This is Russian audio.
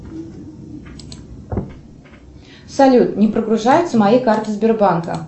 салют не прогружаются мои карты сбербанка